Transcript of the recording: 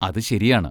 അതു ശരിയാണ്.